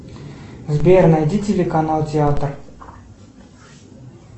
сбер найди телеканал театр